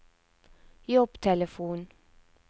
jobbtelefon